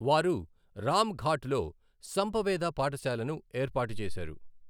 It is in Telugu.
వారు రామ్ ఘాట్ లో సంప వేద పాఠశాలను ఏర్పాటు చేశారు.